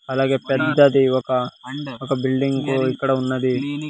అలాగే పెద్దది ఒక ఒక బిల్డింగ్ ఇక్కడ ఉన్నది.